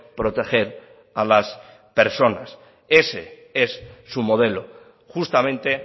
proteger a las personas ese es su modelo justamente